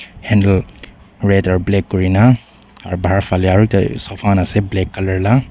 handle leather black kori na aru bahar fale aru sofa khan ase black colour la.